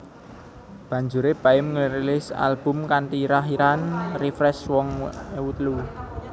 Banjuré Baim ngrilis album kanthi irah irahan Refresh rong ewu telu